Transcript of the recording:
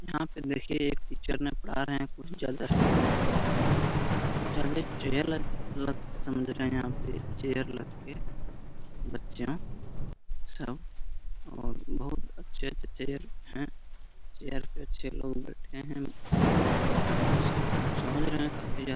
यहाँ पे देखिए एक टीचर पढ़ा रहे हैं --